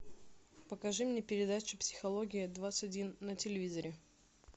покажи мне передачу психология двадцать один на телевизоре